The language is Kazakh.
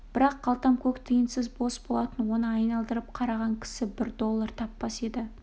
бірақ қалтам көк тиынсыз бос болатын оны айналдырып қараған кісі бір доллар таппас еді